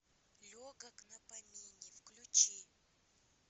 легок на помине включи